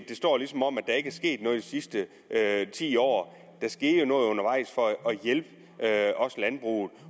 sket noget de sidste ti år der skete jo noget undervejs for at hjælpe landbruget